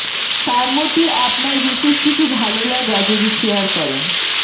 তার মধ্যে আপনার বিশেষ কিছু ভাললাগা যদি শেয়ার করেন